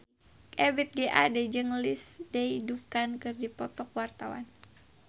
Ebith G. Ade jeung Lindsay Ducan keur dipoto ku wartawan